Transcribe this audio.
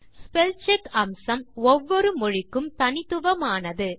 spell check அம்சம் ஒவ்வொரு மொழிக்கும் தனித்துவமானது